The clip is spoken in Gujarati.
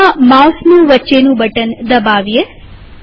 હવે ત્યાં માઉસનું વચ્ચેનું બટન દબાવીએ